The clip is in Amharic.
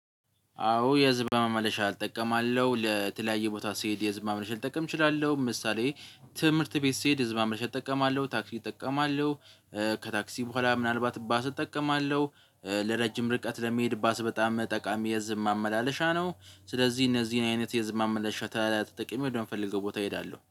አዎ የህዝብ ማመላለሻ እጠቀማለሁ ለተለያየ ቦታ ስሄድ የህዝብ ማመላለሻ ልጠቀም እችላለሁ ምሳሌ ትምህርት ቤት ስሄድ ህዝብ ማመላለሻ እጠቀማለሁ ታክሲ እጠቀማለሁ። ከታክሲ በኋላ ምናልባት ባስ እጠቀማለሁ። ለረጅም ርቀት ለሚሄድ ባስ በጣም ጠቃሚ የህዝብ ማመላለሻ ነው። ስለዚህ እነዚህን አይነት የህዝብ ማመላለሻ ተጠቅሜ ወደ ምፈልገው ቦታ እሄዳለሁ